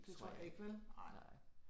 Det tror jeg ikke, vel, nej